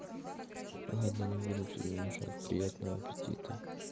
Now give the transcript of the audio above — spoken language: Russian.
ладно не буду тебе мешать приятного аппетита